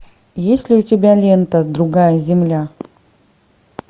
есть ли у тебя лента другая земля